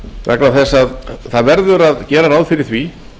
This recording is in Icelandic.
vegna þess að það verður að gera ráð fyrir því